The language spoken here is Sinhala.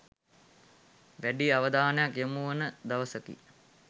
වැඩි අවධානයක් යොමුවන දවසකි.